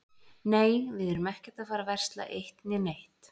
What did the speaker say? Nei, við erum ekkert að fara að versla eitt né neitt.